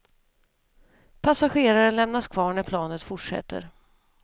Passageraren lämnas kvar när planet fortsätter.